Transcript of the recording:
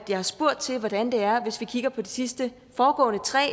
jeg har spurgt til hvordan det er hvis vi kigger på de sidste foregående tre